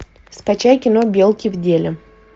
скачай кино белки в деле